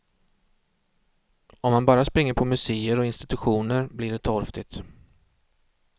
Om man bara springer på muséer och institutioner blir det torftigt.